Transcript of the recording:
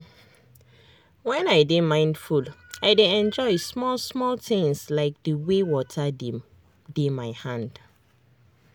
when i dey mindful i dey enjoy small small things like the way water dey my hand.